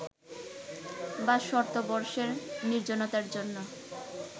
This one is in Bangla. বা ‘শতবর্ষের নির্জনতা’র জন্য